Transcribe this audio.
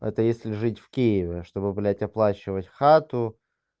это если жить в киеве чтобы блядь оплачивать хату